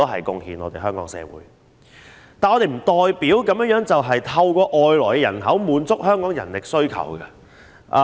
但是，這並不代表我們可透過外來人口滿足香港的人力需求。